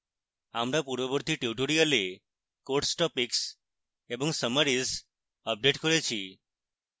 আমরা পূর্ববর্তী tutorials course topics এবং summaries আপডেট করেছি